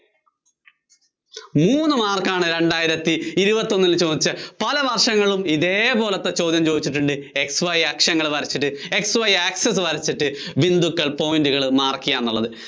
മൂന്ന് mark ആണ് രണ്ടായിരത്തി ഇരുപത്തിയൊന്നില്‍ ചോദിച്ച, പല വര്‍ഷങ്ങളും ഇതേപോലത്തെ ചോദ്യം ചോദിച്ചിട്ടുണ്ട്. x y അക്ഷങ്ങള്‍ വരച്ചിട്ട്, x yaccess വരച്ചിട്ട്, ബിന്ദുക്കള്‍ point കള്‍ mark ചെയ്യുക എന്നുള്ളത്.